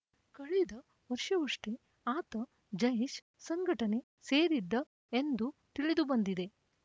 ಕಳೆದ ವರ್ಷವಷ್ಟೇ ಆತ ಜೈಷ್‌ ಸಂಘಟನೆ ಸೇರಿದ್ದ ಎಂದು ತಿಳಿದುಬಂದಿದೆ